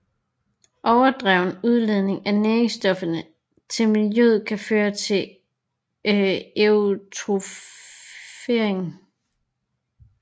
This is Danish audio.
Overdreven udledning af næringsstoffer til miljøet kan føre til eutrofiering